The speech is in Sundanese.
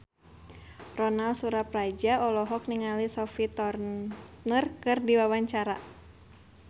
Ronal Surapradja olohok ningali Sophie Turner keur diwawancara